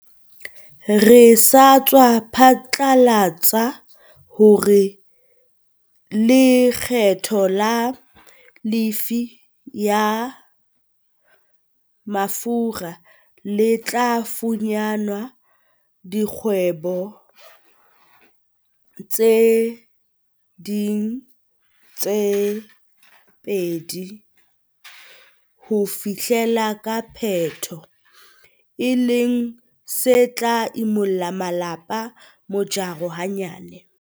Re sa tswa phatlalatsa hore lekgetho la lefii ya mafura le tla fanyehwa dikgwedi tse ding tse pedi ho fihlela ka Phato, e leng se tla imollang malapa mojaro hanyane.